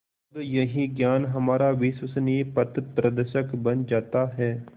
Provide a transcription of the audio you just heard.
तब यही ज्ञान हमारा विश्वसनीय पथप्रदर्शक बन जाता है